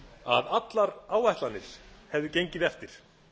að allar áætlanir hefðu gengið eftir